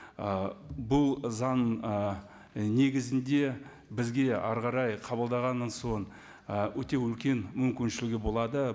бұл заң і негізінде бізге әрі қарай қабылдағаннан соң і өте үлкен мүмкіншілігі болады